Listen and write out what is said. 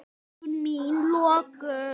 Augu mín lokuð.